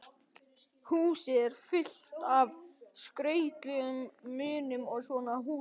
Húsið er fullt af skrautlegum munum og svona húsgagna